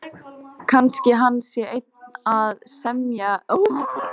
Kannski hann sé enn að semja um verð á þeim.